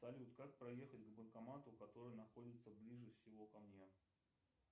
салют как проехать к банкомату который находится ближе всего ко мне